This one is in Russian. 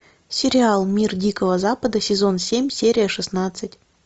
сериал мир дикого запада сезон семь серия шестнадцать